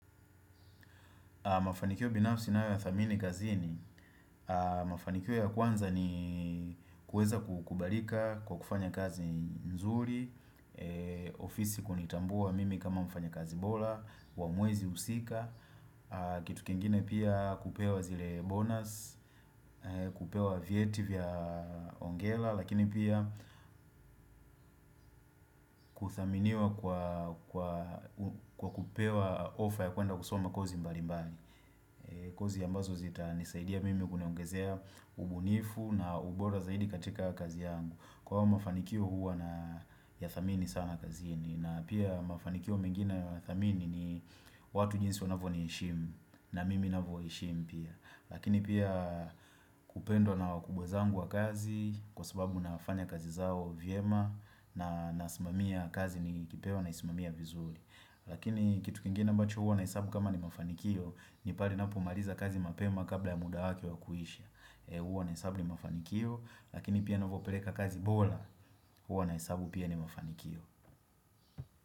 Mafanikio binafsi nayo yathamini kazini, mafanikio ya kwanza ni kueza kubalika kwa kufanya kazi nzuri, ofisi kunitambua mimi kama mfanyakazi bola, wa mwezi husika, kitu kingine pia kupewa zile bonus, kupewa vyeti vya ongera, lakini pia kuthaminiwa kwa kupewa offer ya kuenda kusoma kozi mbali mbali. Kozi ambazo zitanisaidia mimi kuniongezea ubunifu na ubora zaidi katika kazi yangu. Kwa hayo mafanikio huwa na yathamini sana kazi hini. Na pia mafanikio mengine nayathamini ni watu jinsi wanavyo niheshimu na mimi navyo waheshimu pia. Lakini pia kupendwa na wakubwa zangu wa kazi kwa sababu nafanya kazi zao vyema na nasimamia kazi nikipewa na isimamia vizuri. Lakini kitu kingine ambacho huwa na hesabu kama ni mafanikio ni pale napomaliza kazi mapema kabla ya muda wake wa kuhisha Huwa na hesabu ni mafanikio Lakini pia navyopeleka kazi bora Huwa na hesabu pia ni mafanikio.